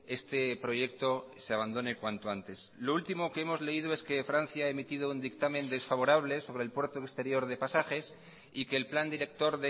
este proyecto se abandone cuanto antes lo último que hemos leído es que francia ha emitido un dictamen desfavorable sobre el puerto exterior de pasajes y que el plan director